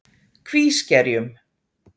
Kvískerjum